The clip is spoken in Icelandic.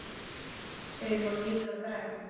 Þau voru líka græn.